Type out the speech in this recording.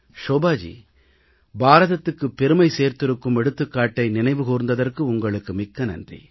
ஷோபாஜி பாரதத்துக்குப் பெருமை சேர்த்திருக்கும் எடுத்துக்காட்டை நினைவு கூர்ந்ததற்கு உங்களுக்கு மிக்க நன்றி